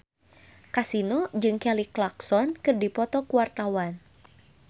Kasino jeung Kelly Clarkson keur dipoto ku wartawan